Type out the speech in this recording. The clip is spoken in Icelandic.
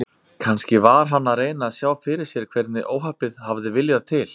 Kannski var hann að reyna að sjá fyrir sér hvernig óhappið hafði viljað til.